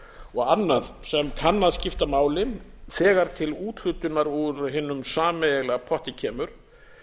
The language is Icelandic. og annað sem kann að skipta máli þegar til úthlutunar úr hinum sameiginlega potti kemur